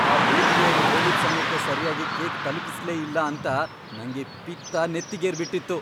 ಆ ಬೇಕ್ರಿಯೋರು ಹೇಳಿದ್ ಸಮಯಕ್ ಸರ್ಯಾಗಿ ಕೇಕ್ ತಲ್ಪಿಸ್ಲೇ ಇಲ್ಲ ಅಂತ ನಂಗೆ ಪಿತ್ತ ನೆತ್ತಿಗೇರ್ಬಿಟಿತ್ತು.